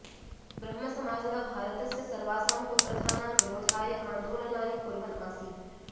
ब्रह्मसमाजः भारतस्य सर्वासां कुप्रथानां विरोधाय आन्दोलनानि कुर्वन् आसीत्